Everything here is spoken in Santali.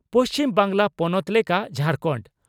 ᱯᱩᱪᱷᱤᱢ ᱵᱟᱝᱜᱽᱞᱟ ᱯᱚᱱᱚᱛ ᱞᱮᱠᱟ ᱡᱷᱟᱨᱠᱟᱱᱰ